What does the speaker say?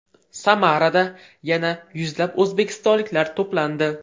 Samarada yana yuzlab o‘zbekistonliklar to‘plandi.